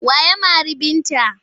Wa ya mari Binta?